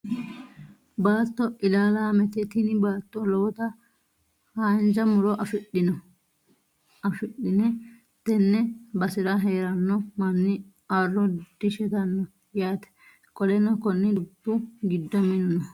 Baatto ilaalaamete. Tini baatto lowota haanja muro afidhine. Tenne basera heeranno manni arro dishetanno yaate. Qoleno konni dubbu giddo minu no.